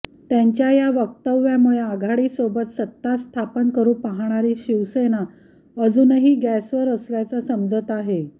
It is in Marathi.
त्यांच्या या वक्तव्यामुळे आघाडीसोबत सत्तास्थापन करु पाहणारी शिवसेना अजूनही गॅसवर असल्याचं समजत आहे